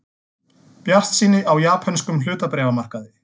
Bjartsýni á japönskum hlutabréfamarkaði